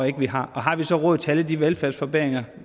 ikke vi har og har vi så råd til alle de velfærdsforbedringer